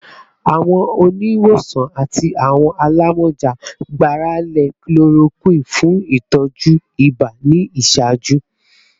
Awọn oniwosan ati awọn alamọja gbarale chloroquine fun itọju iba ni iṣaaju